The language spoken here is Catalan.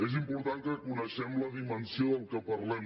és important que coneguem la dimensió del que parlem